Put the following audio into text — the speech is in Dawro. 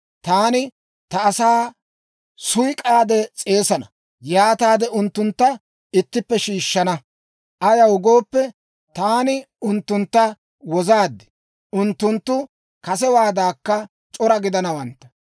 «Taani ta asaa suyk'k'aade s'eesana; yaataade, unttuntta ittippe shiishshana. Ayaw gooppe, taani unttuntta wozaad; unttunttu kasewaadankka c'ora gidanawantta.